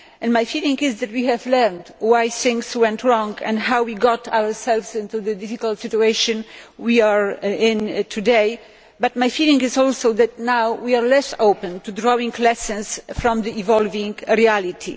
My feeling is that we have learned why things went wrong and how we got ourselves into the difficult situation we are in today, but my feeling is also that now we are less open to drawing lessons from the evolving reality.